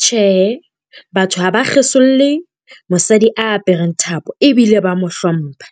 Tjhe, batho ha ba kgesolle mosadi a apereng thapo ebile ba mo hlompha.